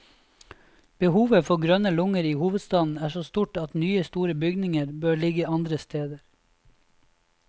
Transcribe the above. Behovet for grønne lunger i hovedstaden er så stort at nye store bygninger bør ligge andre steder.